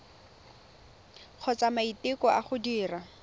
kgotsa maiteko a go dira